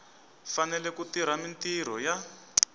fanele ku tirha mintirho ya